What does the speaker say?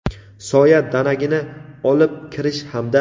soya danagini olib kirish hamda;.